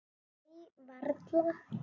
Nei, varla.